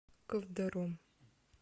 ковдором